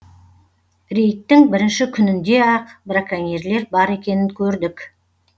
рейдтің бірінші күнінде ақ браконьерлер бар екенін көрдік